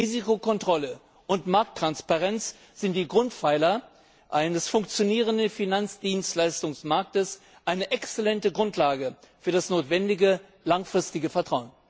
Risikokontrolle und Markttransparenz sind die Grundpfeiler eines funktionierenden Finanzdienstleistungsmarktes, eine exzellente Grundlage für das notwendige langfristige Vertrauen.